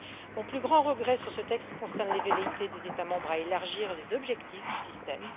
Mon plus grand regret sur ce texte concerne les velléités des États membres d'élargir les objectifs du système.